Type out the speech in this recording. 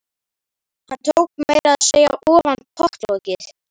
Hann tók meira að segja ofan pottlokið.